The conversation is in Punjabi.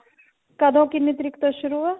ਕਦੋਂ ਕਿੰਨੀ ਤਰੀਕ ਤੋਂ ਸ਼ੁਰੂ ਆ